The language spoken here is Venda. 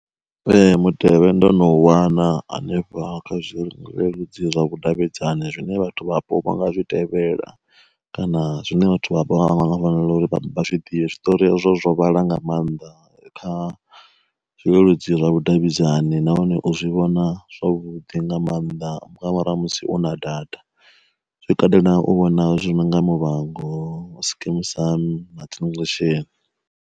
Ee mutevhe ndo no wana hanefha kha zwi leludzi zwa vhudavhidzani zwine vhathu vhapo nga zwi tevhela kana zwine vhathu vha vha vha vha nga nga fanela uri vha zwi ḓivhe, zwiṱori hazwo vhaḽa nga maanḓa kha zwileludzi zwa vhudavhidzani nahone u zwi vhona zwavhuḓi nga maanḓa nga murahu ha musi u na data zwi katela u vhona zwinonga muvhango, skim sam, na the sheni.